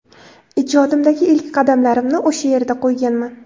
Ijodimdagi ilk qadamlarimni o‘sha yerda qo‘yganman.